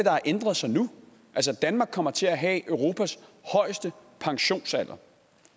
har ændret sig nu altså danmark kommer til at have europas højeste pensionsalder